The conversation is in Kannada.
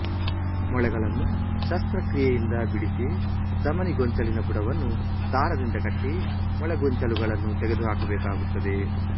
ಮೊಳೆಗಳನ್ನು ಶಸ್ತ್ರಕ್ರಿಯೆಯಿಂದ ಬಿಡಿಸಿ ಧಮನಿ ಗೊಂಚಲಿನ ಬುಡವನ್ನು ದಾರದಿಂದ ಕಟ್ಟಿ ಮೊಳೆಗೊಂಚಲುಗಳನ್ನು ತೆಗೆದುಹಾಕಬೇಕಾಗುತ್ತದೆ